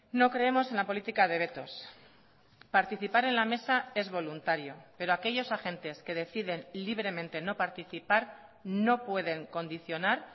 no creemos en la política de vetos participar en la mesa es voluntario pero aquellos agentes que deciden libremente no participar no pueden condicionar